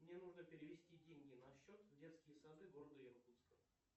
мне нужно перевести деньги на счет в детские сады города иркутска